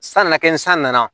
San nana kɛ ni san nana